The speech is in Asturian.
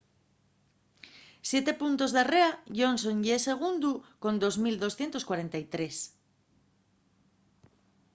siete puntos darrera johnson ye segundu con 2.243